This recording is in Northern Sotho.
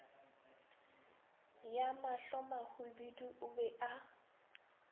ya mahlomahwibidu o be a